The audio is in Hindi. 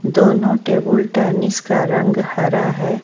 दोनों टेबुल टेनिस का रंग हरा है।